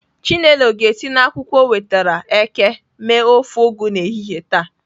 Chinelo ga-esi na akwukwo o nwetara eke mee ofe Ugu n'ehihie taa.